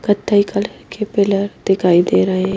कथई कलर के पिलर दिखाई दे रहे ।